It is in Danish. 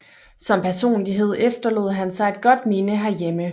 Som personlighed efterlod han sig et godt minde her hjemme